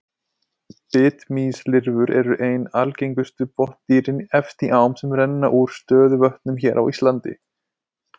Bitmýslirfur eru ein algengustu botndýrin efst í ám sem renna úr stöðuvötnum hér á landi.